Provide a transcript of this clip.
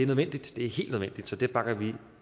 nødvendigt så det bakker vi